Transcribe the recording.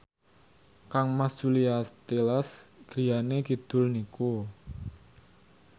kangmas Julia Stiles griyane kidul niku